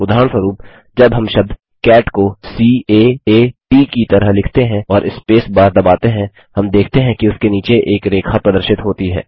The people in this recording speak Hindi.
उदाहरणस्वरुप जब हम शब्द कैट को सी A आ T की तरह लिखते हैं और स्पेस बार दबाते हैं हम देखते हैं कि उसके नीचे एक रेखा प्रदर्शित होती है